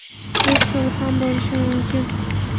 rus tili ham bo‘lishi mumkin.